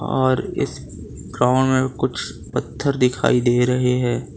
और इस ग्राउंड मे कुछ पत्थर दिखाई दे रहे है।